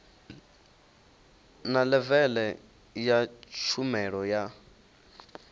na levele ya tshumelo yo